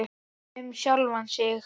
Bara um sjálfan sig.